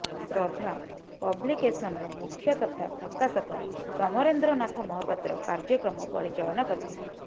ଶ୍ରଦ୍ଧା ପବ୍ଲିକେଶନ୍ର ମୁଖ୍ୟ ତଥା ପ୍ରକାଶକ ସମରେନ୍ଦ୍ର ନାଥ ମହାପାତ୍ର କାର୍ଯ୍ୟକ୍ରମ ପରିଚାଳନା କରିଥିଲେ